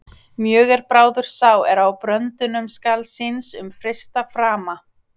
Mjög er bráður sá er á bröndum skal síns um freista frama.